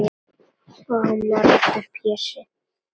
Og hann varð aftur Pési.